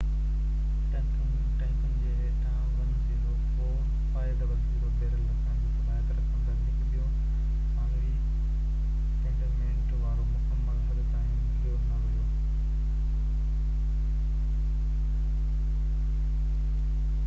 ٽينڪن جي هيٺان 104،500 بيرل رکڻ جي صلاحيت رکندڙ هڪ ٻيو ثانوي ڪنٽينمينٽ وارو مڪمل حد تائين ڀريو نه ويو